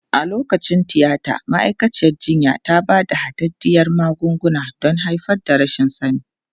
A lokacin tiyata, ma'aikaciyar jinya ta ba da hadaddiyar magunguna don haifar da rashin sani.